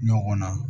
Ɲɔgɔn na